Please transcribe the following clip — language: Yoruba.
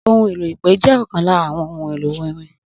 Ohun èlò ipe jẹ́ ọkan lára àwọn ohun èlò orin